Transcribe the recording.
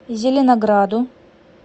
зеленограду